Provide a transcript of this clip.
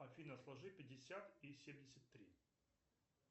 афина сложи пятьдесят и семьдесят три